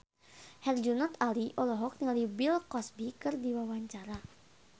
Herjunot Ali olohok ningali Bill Cosby keur diwawancara